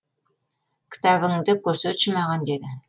кітабыңды көрсетші маған деді